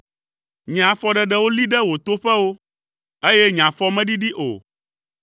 Nye afɔɖeɖewo li ɖe wò toƒewo, eye nye afɔ meɖiɖi o.